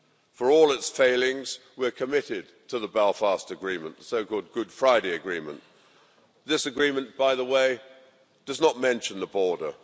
For all its failings, we are committed to the Belfast Agreement, the so called Good Friday Agreement. This agreement, by the way, does not mention the border.